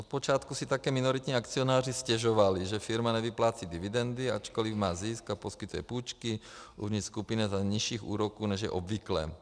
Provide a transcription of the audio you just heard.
Od počátku si také minoritní akcionáři stěžovali, že firma nevyplácí dividendy, ačkoliv má zisk a poskytuje půjčky uvnitř skupiny za nižších úroků, než je obvyklé.